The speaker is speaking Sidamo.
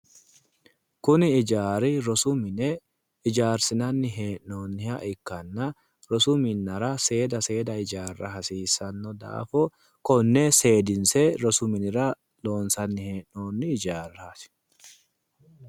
Kuni hijaari rosu mine hijaarsinanni hee'noonniha ikkanna rosu minnara seeda seeda hijaarra hasiissanno daafo konne seedinse rosu minira loonsanni hee'noonni hijaarraati.